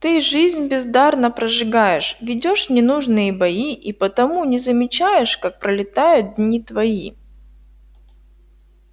ты жизнь бездарно прожигаешь ведёшь ненужные бои и потому не замечаешь как пролетают дни твои